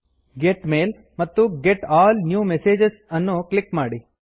get mail ಮತ್ತು get all new messages ಅನ್ನು click ಮಾಡಿ